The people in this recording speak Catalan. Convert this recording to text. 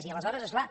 i aleshores és clar